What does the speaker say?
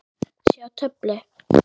Sjá töflu.